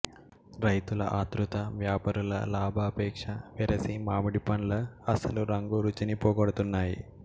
రైతుల ఆతృత వ్యాపారుల లాభాపేక్ష వెరసి మామిడి పండ్ల అసలు రంగు రుచిని పోగొడుతున్నాయి